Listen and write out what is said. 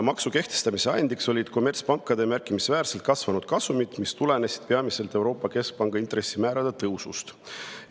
Maksu kehtestamise ajendiks olid kommertspankade märkimisväärselt kasvanud kasumid, mis tulenesid peamiselt Euroopa Keskpanga intressimäärade tõusust.